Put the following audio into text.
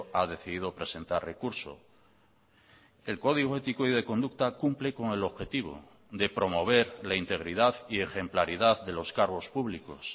ha decidido presentar recurso el código ético y de conducta cumple con el objetivo de promover la integridad y ejemplaridad de los cargos públicos